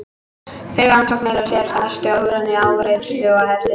Fyrstu rannsóknir hans snerust að mestu um hugræna áreynslu og eftirtekt.